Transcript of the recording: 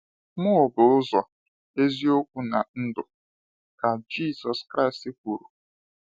“Mụ bụ ụzọ, eziokwu, na ndụ,” ka Jésù Kraịst kwuru.